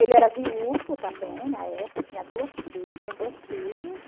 Ele era viúvo também, na época, tinha duas fi tinha dois filhos.